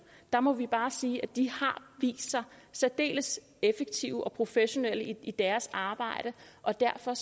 må vi bare sige at de har vist sig særdeles effektive og professionelle i deres arbejde og derfor